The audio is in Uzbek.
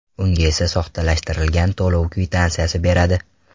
Unga esa soxtalashtirilgan to‘lov kvitansiyasini beradi.